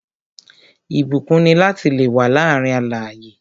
Ìbúkún ni lati le wà láàárín alààyè